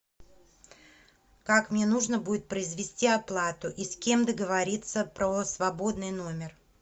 как мне нужно будет произвести оплату и с кем договориться про свободный номер